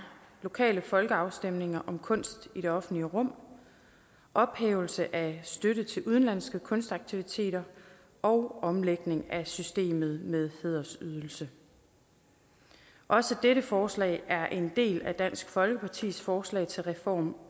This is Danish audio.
lokale folkeafstemninger om kunst i det offentlige rum ophævelse af støtte til udenlandske kunstaktiviteter og omlægning af systemet med hædersydelse også dette forslag er en del af dansk folkepartis forslag til reform